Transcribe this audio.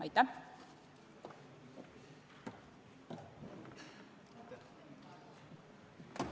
Aitäh!